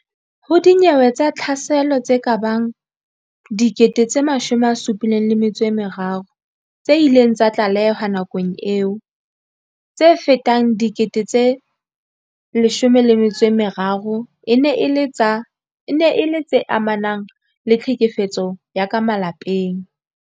Ho dinyewe tsa tlhaselo tse kabang 73 000 tse ileng tsa tlalehwa nakong eo, tse fetang 13000 e ne e le tse amanang le tlhekefetso ya ka malapeng.